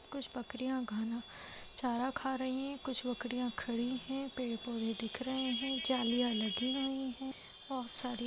कुछ बकरिया घना चारा खा रही हैं कुछ बकरिया खड़ी है पेड़-पौधे दिख रहे हैं जालिया लगी हुई है बहोत सारी ---